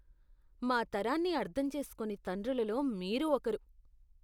మా తరాన్ని అర్థం చేసుకోని తండ్రులలో మీరు ఒకరు.